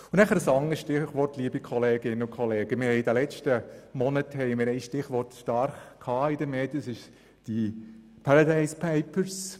Ein anderes Stichwort: In den letzten Monaten hatten wir in den Medien das Stichwort der «Paradise Papers».